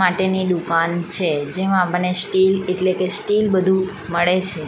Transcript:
માટેની દુકાન છે જેમાં મને સ્ટીલ એટલે કે સ્ટીલ બધું મળે છે.